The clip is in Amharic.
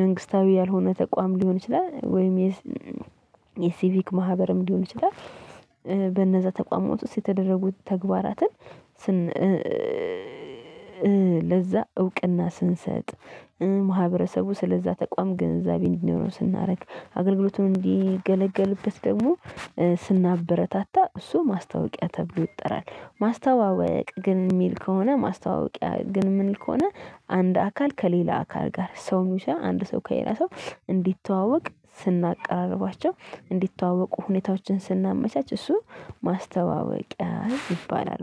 መንግስታዊ ያልሆነ ተቋም ሊሆን ይችላል ወይም የሲቪክ ማህበርም ሊሆን ይችላል። በነዛ ተቋሟት ውስጥ የተደረጉ ተግባራትን። ለዛ እውቅና ስንሰጥ ማህበረሰቡ ስለዛ ተቋም ግንዛቤ እንዲኖረው ስናደርግ አገልግሎቱን እንዲገለገልበት ደግሞ ስናበረታታ እሱ ማስታወቂያ ተብሎ ይጠራል። ማስተዋወቅ ግን ሚል ከሆነ ማስተዋወቂያ ግን ምንል ከሆነ አንድ አካል ከሌላ አካል ጋር ሰው ሚሻ አንድ ሰው ከሌላ ሰው እንዲተዋወቅ ስናቀራርባቸው እንዲተዋወቁ ሁኔታዎችን ስናመቻች እሱ ማስተዋወቂያ ይባላል